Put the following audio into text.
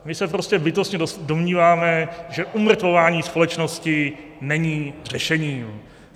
My se prostě bytostně domníváme, že umrtvování společnosti není řešením.